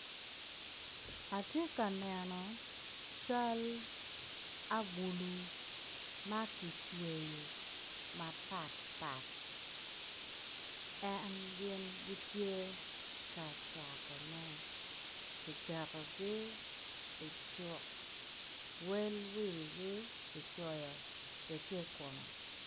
Atye ka neno cal agulu ma kicweyo mapatpat en gin gitye ka catone kiketogi icuk wel wigi kicoyo tye i kome.